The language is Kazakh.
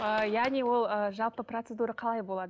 ы яғни ол ы жалпы процедура қалай болады